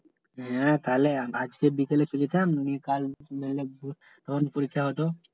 হ্যাঁ তাইলে আজকে বিকেলে চলে যেতাম নি কাল তখন পরীক্ষা হত